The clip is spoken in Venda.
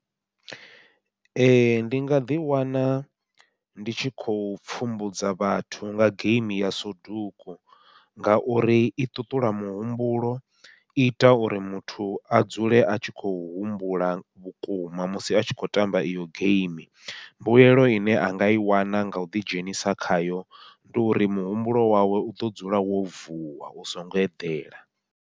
Ee ndi nga ḓi wana ndi tshi khou pfhumbudza vhathu nga geimi ya suduku ngauri i ṱuṱula muhumbulo, i ita uri muthu a dzule a tshi khou humbula vhukuma musi a tshi khou tamba iyo geimi, mbuyelo ine a nga i wana ngau ḓidzhenisa khayo ndi uri muhumbulo wawe uḓo dzula wo vuwa u songo eḓela.